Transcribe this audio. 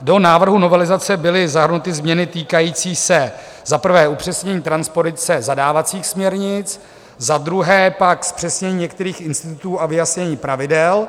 Do návrhu novelizace byly zahrnuty změny týkající se za prvé upřesnění transpozice zadávacích směrnic, za druhé pak zpřesnění některých institutů a vyjasnění pravidel,